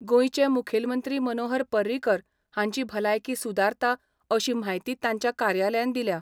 गोयचे मुखेलमंत्री मनोहर पर्रिकर हांची भलायकी सुदारता अशी म्हायती तांच्या कार्यालयान दिल्या.